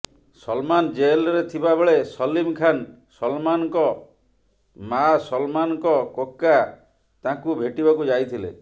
ସଲମାନ ଜେଲରେ ଥିଲା ବେଳେ ସଲିମ ଖାନ ସଲମାନଙ୍କ ମାଁ ସଲମାନଙ୍କ କକା ତାଙ୍କୁ ଭେଟିବାକୁ ଯାଇଥିଲେ